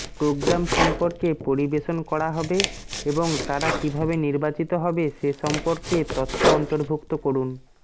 programme সম্পর্কে পরিবেশন করা হবে এবং তারা কিভাবে নির্বাচিত হবে সে সম্পর্কে তথ্য অন্তর্ভুক্ত করুন